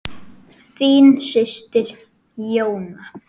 Þín systir, Jóna.